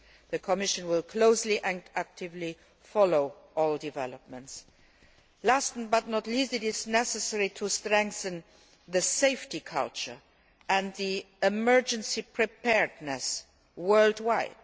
The Commission will closely and actively follow all developments. Last, but not least, it is necessary to strengthen the safety culture and emergency preparedness worldwide.